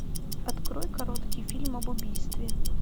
открой короткий фильм об убийстве